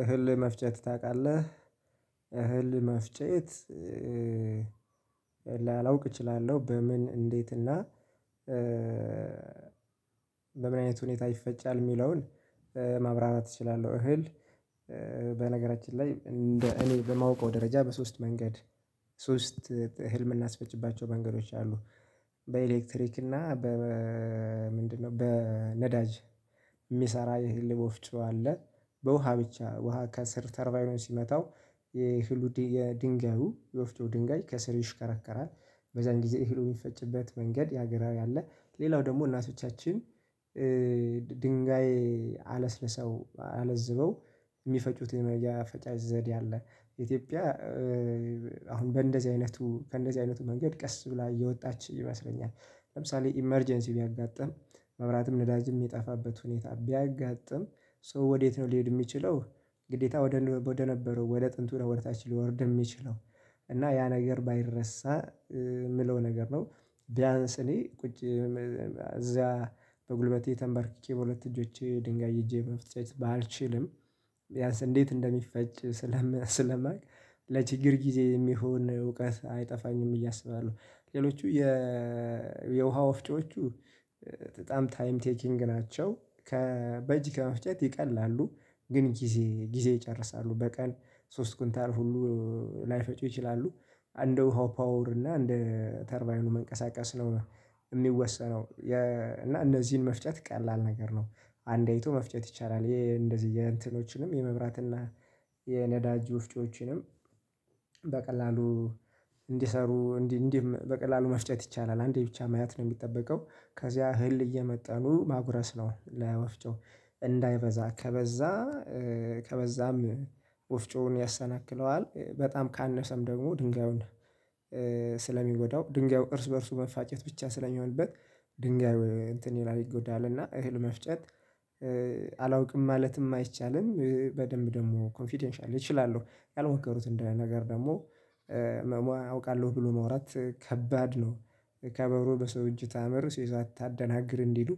እህል መፍጨት ታቃለህ? እህል መፍጨት ላላውቅ እችላለሁ በምን እንዴት እና በምን አይነት ሁኔታ ይፈጫል የሚለውን ማብራራት እችላለሁ። እህል በነገራችን ላይ እንደ እኔ በማውቀው ደረጃ በሶስት መንገድ ሶስት እህል ምናስፈጭባቸው መንገዶች አሉ። በኤሌክትሪክ እና በ ምንድነው በነዳጅ የሚሰራ ይሄ የእህል ወፍጮ አለ። በውሃ ብቻ ውሃ ከሰር ተርቫይኑን ሲመታው የህሉ የድንጋዩ የወፍጮ ድንጋይ ከስር ይሽከረከራል በዛን ጊዜ እህል የሚፈጭበት መንገድ የሀገራዊ አለ። ሌላው ደግሞ እናቶቻችን ድንጋይ አለስለሰው አለዝበው የሚፈጩት የመፍጫ ዘዴ አለ። ኢትዮጵያ አሁን በእንደዚህ አይነቱ ከእንደዚህ አይነቱ መንገድ ቀስ ብላ እየወጣች ይመስለኛል። ለምሳሌ ኢመርጀንሲ ቢያጋጥም መብራትም ነዳጅም የሚጠፋበት ሁኔታ ቢያጋጥም ሰው ወዴት ነው ሊሄድ የሚችለው ግዴታ ወደ ነበረው ወደ ጥንቱ ወደታች ሊወርድ የሚችለው እና ያ ነገር ባይረሳ የምለው ነገር ነው። ቢያንስ እኔ ቁጭ እዚያ በጉልበቴ ተንበርክኬ በሁለት እጆቼ ድንጋይ ይዤ መፍጨት ባልችልም ቢያንስ እንዴት እንደሚፈጭ ስለማውቅ ለችግር ጊዜ የሚሆን እውቀት አይጠፋኝም ብዬ እስባለሁ። ሌሎቹ የ የውሃ ወፍጮቹ በጣም ታይም ቴኪንግ ናቸው። ከ በጅ ከመፍጨት ይቀላሉ። ግን ጊዜ ጊዜ ይጨርሳሉ። በቀን ሶስት ኩንታል ሁሉ ላይፈጩ ይችላሉ። አንደ ውሃው ፓወር እና አንድ ተርባይኑ መንቀሳቀስ ነው የሚወሰነው የ እና እነዚህን መፍጨት ቀላል ነገር ነው። አንዴ አይቶ መፍጨት ይቻላል። የእንደዚህ የእንትኖችንም የመብራትና የነዳጅ ውፍጮችንም በቀላሉ እንዲሰሩ እንዲህ እንዲህም በቀላሉ መፍጨት ይቻላል። አንዴ ብቻ ማየት ነው የሚጠበቀው ከዚያ እህል እየመጣኑ ማጉረስ ነው። ለወፍጮ እንዳይበዛ ከበዛ ከበዛም ወፍጮውን ያሰናክለዋል። በጣም ካነሰም ደግሞ ድንጋዩን ስለሚጎዳው ድንጋዩ እርስ በእርሱ መፋጨት ብቻ ስለሚሆንበት ድንጋዩ እንትን ይላል ይጎዳልና እህል መፍጨት አላውቅም ማለትም አይቻልም በደንብ ደግሞ ኮንፊደንሻሊ እችላለሁ ያልሞከሩትን እንደ ነገር ደግሞ መሞ አውቃለሁ ብሎ መውራት ከባድ ነው። "ከበሮ በሰው እጅ ታምር ሲይዟት ታደናግር" እንዲሉ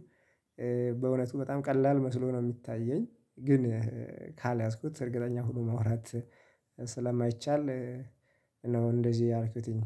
በእውነቱ በጣም ቀላል መስሎ ነው የሚታየኝ ግን ካልያዝኩት እርግጠኛ ሆኖ ማውራት ስለማይቻል ነው። እንደዚህ ያልኩትኝ